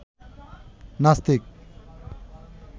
নাস্তিক